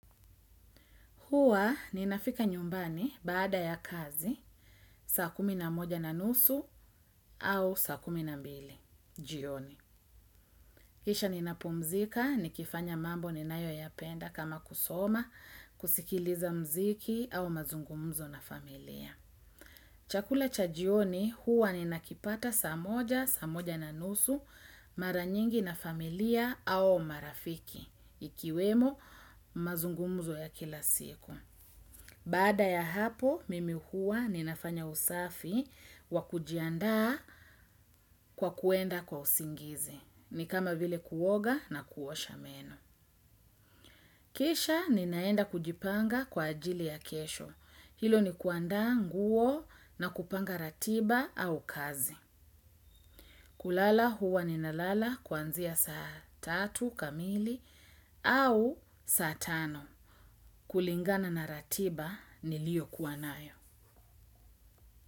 Huwa ninafika nyumbani baada ya kazi, saa kumi na moja na nusu au saa kumi na mbili. Jioni. Kisha ninapumzika, nikifanya mambo ninayoyapenda kama kusoma, kusikiliza muziki au mazungumzo na familia. Chakula cha jioni huwa ninakipata saa moja, saa moja na nusu, mara nyingi na familia au marafiki, ikiwemo mazungumzo ya kila siku. Baada ya hapo, mimi huwa ninafanya usafi wa kujiandaa kwa kuenda kwa usingizi. Ni kama vile kuoga na kuosha meno. Kisha ninaenda kujipanga kwa ajili ya kesho. Hilo ni kuandaa nguo na kupanga ratiba au kazi. Kulala huwa ninalala kuanzia saa tatu kamili au saa tano. Kulingana na ratiba niliyo kuwa nayo.